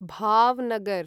Bhavnagar